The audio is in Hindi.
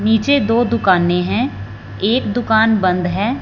नीचे दो दुकानें हैं एक दुकान बंद हैं।